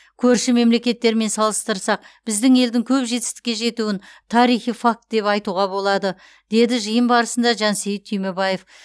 көрші мемлекеттермен салыстырсақ біздің елдің көп жетістікке жетуін тарихи факт деп айтуға болады деді жиын барысында жансейіт түймебаев